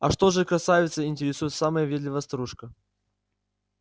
а что же красавица интересует самая въедливая старушка